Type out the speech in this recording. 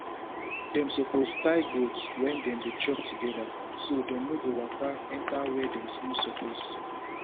dem suppose tie goat when dem dey chop together so dem no go waka enter where dem no suppose